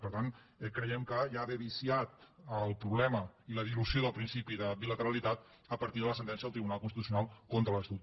per tant creiem que ja ve viciat el problema i la dilució del principi de bilateralitat a partir de la sentència del tribunal constitucional contra l’estatut